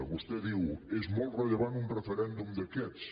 vostè diu és molt rellevant un referèndum d’aquests